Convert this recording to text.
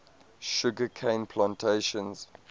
sugar cane plantations